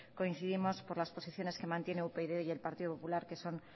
coincidimos por las posiciones que mantiene upyd y el partido popular que son